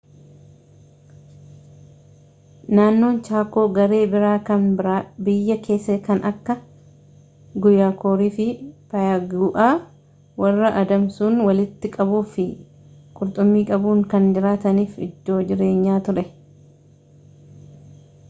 naannoon chaakoo garee biraa kan biyya kessaa kan akka guyaakorii fi payagu’aa warra adamsuun, walitti qabuu fi qurxummii qabuun kan jiraataniif iddoo jireenyaa ture